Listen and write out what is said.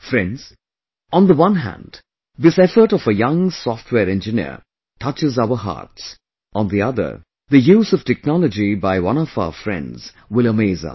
Friends, on the one hand this effort of a young software engineer touches our hearts; on the other the use of technology by one of our friends will amaze us